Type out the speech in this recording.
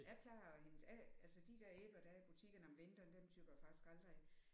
Jeg plejer at hente af altså de der æbler der er i butikkerne om vinteren dem tygger jeg faktisk aldrig af